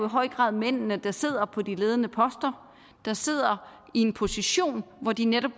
høj grad er mændene der sidder på de ledende poster der sidder i en position hvor de netop